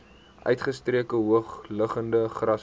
uitgestrekte hoogliggende grasvelde